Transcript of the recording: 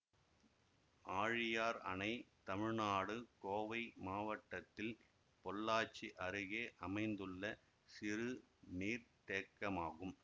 ஆழியார் அணை தமிழ்நாடு கோவை மாவட்டத்தில் பொள்ளாச்சி அருகே அமைந்துள்ள சிறு நீர்த்தேக்கமாகும்